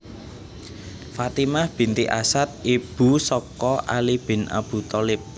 Fatimah binti Asad Ibu saka Ali bin Abu Thalib